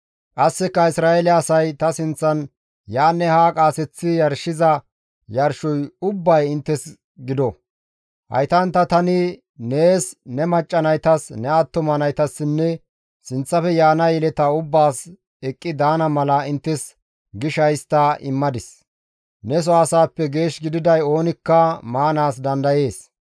«Qasseka Isra7eele asay ta sinththan yaanne haa qaaseththi yarshiza yarshoy ubbay inttes gido; haytantta tani nees, ne macca naytas, ne attuma naytassinne sinththafe yaana yeleta ubbaas eqqi daana mala inttes gisha histta immadis; neso asaappe geesh gididay oonikka maanaas dandayees.